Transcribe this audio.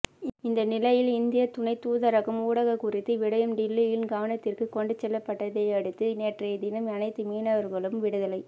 இந்த நிலையில் இந்தியத் துணைத்தூதரகம் ஊடாக குறித்த விடயம் டில்லியின் கவனத்திற்கு கொண்டுசெல்லப்பட்டதையடுத்து நேற்றைய தினம் அனைத்து மீனவர்களும் விடுதலை